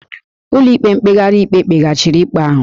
Ụlọikpe mkpegharị ikpe kpeghachiri ikpe ahụ